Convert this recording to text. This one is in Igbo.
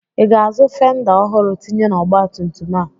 Ị ga-azụ fenda ọhụrụ tinye n'ọgbatumtum a?